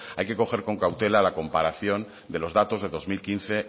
hay que coger con cautela la comparación de los datos de dos mil quince